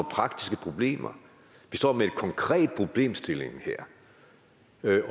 praktiske problemer de står med en konkret problemstilling her